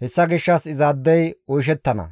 hessa gishshas izaadey oyshettana.